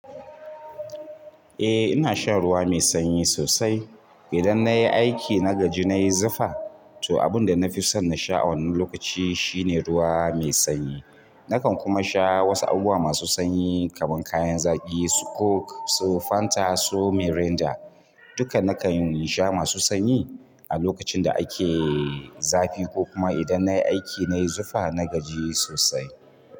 Eh ina shan ruwa mai sanyi sosai. Idan nayi aiki na gaji nayi zufa, to abunda nafison nasha a wannan lokaci shine ruwa mai sanyi. Nakan kuma sha wasu abubuwa masu sanyi kamar kayan zaki su coke su fanta su mirinda, duka nakan sha masu sanyi a lokacinda ake yin zafi kokuma nayi aiki nayi zufa na gaji sosai.